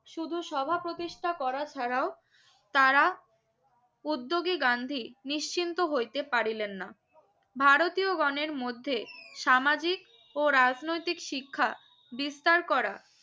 শুধু সভা প্রতিষ্ঠা করা ছাড়াও তারা প্রদ্গী গান্ধী নিশ্চিন্ত হইতে পারিলেন না ভারতীয় গনের মধ্যে সামাজিক ও রাজনৈতিক শিক্ষা বিস্তার করা